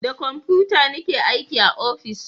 Da komfuta ni ke aiki a ofis